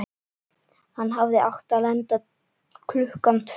Hann hafði átt að lenda klukkan tvö á